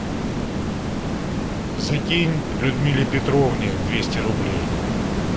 закинь людмиле петровне двести рублей